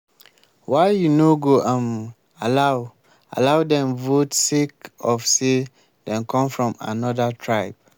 why you no go um allow allow dem vote sake of say dem come from anoda tribe.